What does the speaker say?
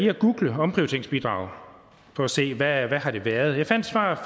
at google omprioriteringsbidrag for at se hvad det har været jeg fandt svaret